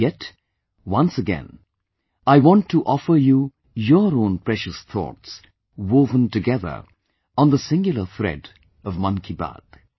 Yet, once again I want to offer you your own precious thoughts, woven together on the singular thread of Mann Ki Baat